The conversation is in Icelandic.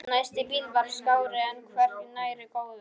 Næsti bíll var skárri en hvergi nærri góður.